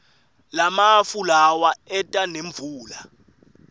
lamafu lawa eta nemvula